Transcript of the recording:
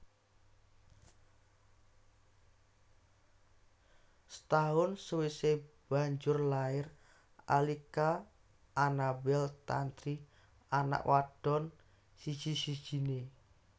Setahun sawisé banjur lair Alika Anabel Tantri anak wadon siji sijiné